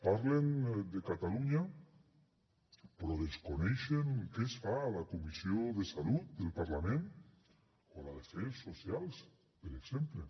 parlen de catalunya però desconeixen què es fa a la comissió de salut del parlament o a la d’afers socials per exemple